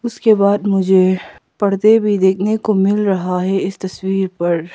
उसके बाद मुझे पर्दे भी देखने को मिल रहा है इस तस्वीर पर।